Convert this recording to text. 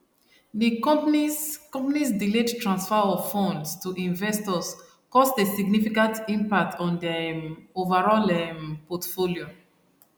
the companys companys delayed transfer of funds to investors caused a significant impact on their um overall um portfolio